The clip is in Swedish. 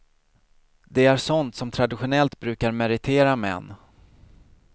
Det är sånt som traditionellt brukar meritera män.